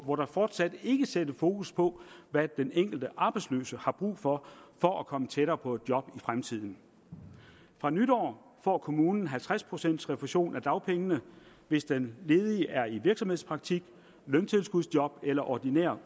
hvor der fortsat ikke sættes fokus på hvad den enkelte arbejdsløse har brug for for at komme tættere på et job i fremtiden fra nytår får kommunen halvtreds procent refusion af dagpengene hvis den ledige er i virksomhedspraktik løntilskudsjob eller ordinær